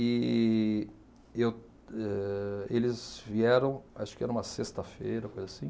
E eu âh eles vieram, acho que era uma sexta-feira, coisa assim.